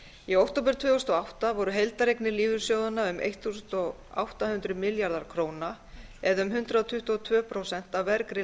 í október tvö þúsund og átta voru heildareignir lífeyrissjóðanna um átján hundruð milljarðar króna eða um hundrað tuttugu og tvö prósent af vergri